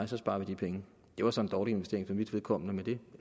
så sparer vi de penge det var så en dårlig investering for mit vedkommende men det